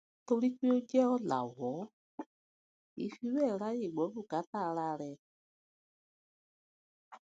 torí pé ó jé òlàwó kì í fi béè ráyè gbó bùkátà ara rè